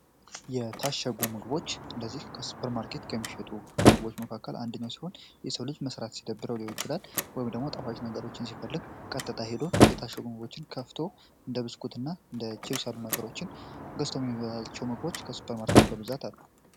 የታሸጉ ምግቦች እነዚህ ከሱፐር ማርኬት ከሚሸጡ ምግቦች መካከል አንደኛው ሲሆን፤ የሰው ልጅ መስራት ሲደብረው ሊሆን ይችላል ወይም ደግሞ ጣፋጭ ነገሮችን ሲፈልግ ቀጥታ ሄዶ የታሸጉ ምግቦችን ከፍቶ እንደ ብስኩትና እንድ ችብስ ያሉ ነገሮችን ገዝቶ የሚበላቸው ምግቦች ከሱፐር ማርኬት በብዛት አሉ።